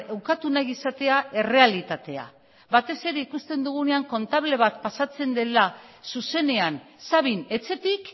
ukatu nahi izatea errealitatea batez ere ikusten dugunean kontable bat pasatzen dela zuzenean sabin etxetik